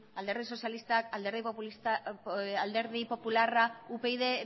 alderdi sozialista alderdi popularra upyd